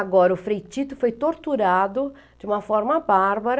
Agora, o Frei Tito foi torturado de uma forma bárbara.